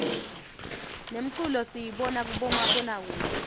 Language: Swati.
nemculo siyibona kumabona kudze